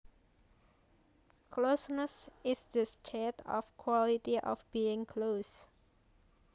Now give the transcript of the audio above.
Closeness is the state or quality of being close